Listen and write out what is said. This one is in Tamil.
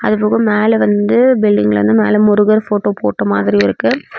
அது போக மேல வந்து பில்டிங்ல வந்து மேல முருகர் ஃபோட்டோ போட்ட மாதிரி இருக்கு.